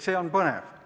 See on põnev.